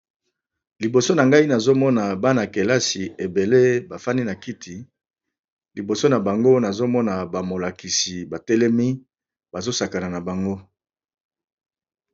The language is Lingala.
Liboso na ngai nazomona bana kelasi ebele bafani na kiti liboso na bango nazomona bamolakisi batelemi bazosakana na bango.